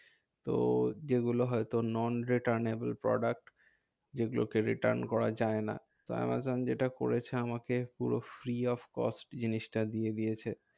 তো যেগুলো হয়তো non returnable product যেগুলোকে return করা যায় না। তো আমাজন যেটা করেছে, আমাকে পুরো free of cost জিনিসটা দিয়ে দিয়েছে।